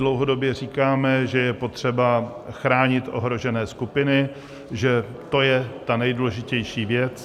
Dlouhodobě říkáme, že je potřeba chránit ohrožené skupiny, že to je ta nejdůležitější věc.